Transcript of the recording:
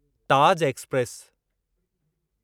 Taj express